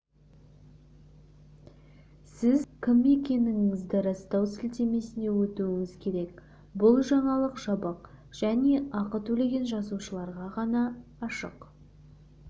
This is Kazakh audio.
сіз кім екендігіңізді растау сілтемесіне өтуіңіз керек бұл жаңалық жабық және ақы төлеген жазылушыларға ғана ашық